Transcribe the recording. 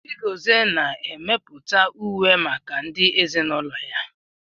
Chigozie na-emepụta uwe maka ndị ezinaụlọ ya